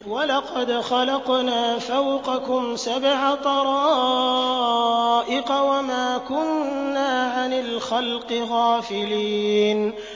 وَلَقَدْ خَلَقْنَا فَوْقَكُمْ سَبْعَ طَرَائِقَ وَمَا كُنَّا عَنِ الْخَلْقِ غَافِلِينَ